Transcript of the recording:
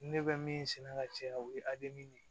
Ne bɛ min sɛnɛ ka caya o ye de ye